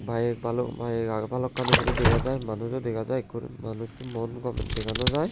baek balu baek agey balokkani guri dega jai manus o dega jar ikkori manusso mon gome dega nw jai.